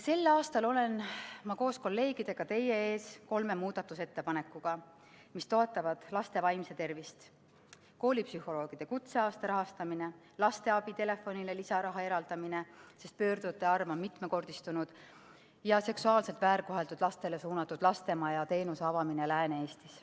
Sel aastal olen ma koos kolleegidega teie ees kolme muudatusettepanekuga, mis toetavad laste vaimset tervist: koolipsühholoogide kutseaasta rahastamine, lasteabitelefonile lisaraha eraldamine, sest pöördujate arv on mitmekordistunud, ja seksuaalselt väärkoheldud lastele suunatud lastemajateenuse avamine Lääne-Eestis.